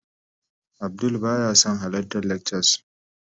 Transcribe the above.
Abdul baya son halartar lectures